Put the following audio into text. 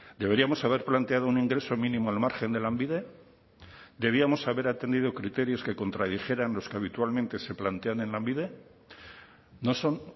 deberíamos haber planteado un ingreso mínimo al margen de lanbide debíamos haber atendido criterios que contradijeran los que habitualmente se plantean en lanbide no son